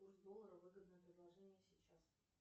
курс доллара выгодное предложение сейчас